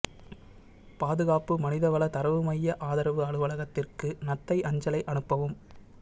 பாதுகாப்பு மனிதவள தரவு மைய ஆதரவு அலுவலகத்திற்கு நத்தை அஞ்சலை அனுப்பவும்